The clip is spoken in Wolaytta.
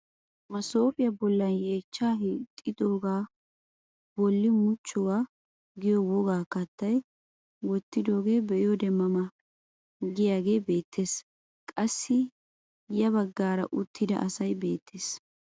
Masoopiyaa bollan yeechchaa hiixxiidioaa bolli muchchuwaa giyo wogaa kattaa wottidogee be'iyoode ma ma giyaagee beettes. Qassi ya baggaraka uttida asay beettees.